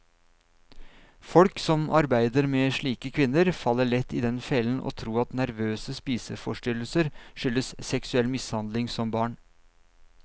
Folk som arbeider med slike kvinner, faller lett i den fellen å tro at nervøse spiseforstyrrelser skyldes seksuell mishandling som barn.